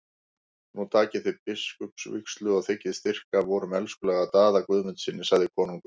Nú takið þér biskupsvígslu og þiggið styrk af vorum elskulega Daða Guðmundssyni, sagði konungur.